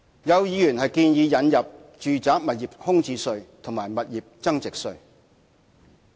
有議員建議引入住宅物業空置稅及物業增值稅。